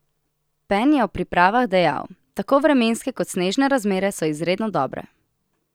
Pen je o pripravah dejal: "Tako vremenske kot snežne razmere so izredno dobre.